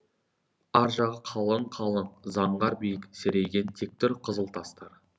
аржағы қалың қалың заңғар биік серейген тектүр қызыл тастар